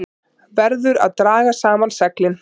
Verður að draga saman seglin